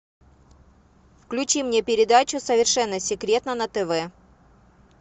включи мне передачу совершенно секретно на тв